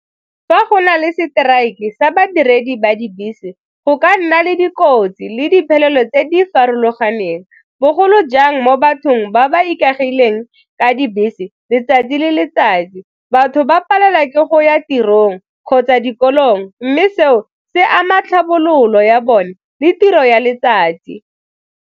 Fa go na le seteraeke sa badiredi ba dibese go ka nna le dikotsi le diphelelo tse di farologaneng bogolo jang mo bathong ba ba ikaegileng ka dibese letsatsi le letsatsi, batho ba palelwa ke go ya tirong kgotsa dikolong mme seo se ama tlhabololo ya bone le tiro ya letsatsi.